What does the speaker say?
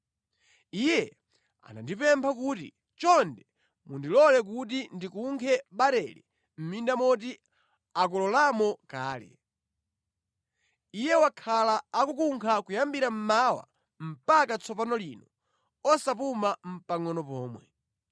Iye anandipempha kuti, ‘Chonde mundilole kuti ndikunkhe barele mʼminda moti akololamo kale.’ Iye wakhala akukunkha kuyambira mmawa mpaka tsopano lino osapuma nʼpangʼono pomwe.”